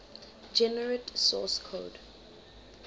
generate source code